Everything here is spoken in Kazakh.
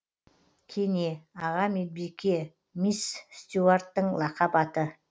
кене аға медбике мисс стюарттың лақап аты